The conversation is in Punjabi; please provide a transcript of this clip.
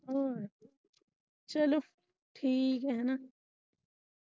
ਚੱਲੋ ਠੀਕ ਐ ਹੈਨਾ।